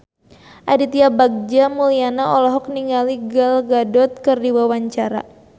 Aditya Bagja Mulyana olohok ningali Gal Gadot keur diwawancara